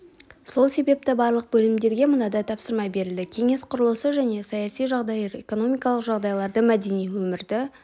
сол себепті барлық бөлімдерге мынадай тапсырма берілді кеңес құрылысы мен саяси жағдайды экономикалық жағдайларды мәдени өмірді